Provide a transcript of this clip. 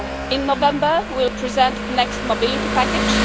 In November we will present the next mobility package.